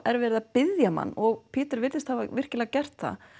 er verið að biðja mann og Pieter virðist hafa virkilega gert það